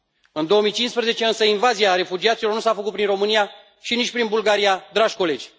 În 2015 însă, invazia refugiaților nu s a făcut prin România și nici prin Bulgaria, dragi colegi.